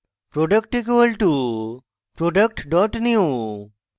product = product new